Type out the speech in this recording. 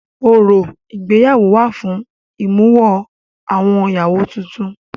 Orò ìgbéyàwó wà fún ìmúwọ-awọ ìyàwó tutun.